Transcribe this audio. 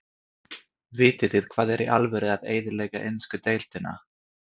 Vitið þið hvað er í alvöru að eyðileggja ensku deildina?